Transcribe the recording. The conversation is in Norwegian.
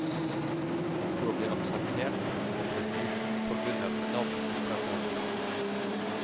For å bli akseptert må prestisjen forbundet med navnet opprettholdes.